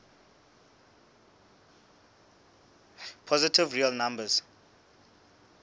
positive real numbers